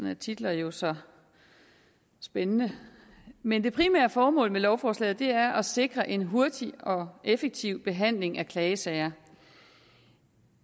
er titler jo så spændende men det primære formål med lovforslaget er at sikre en hurtig og effektiv behandling af klagesager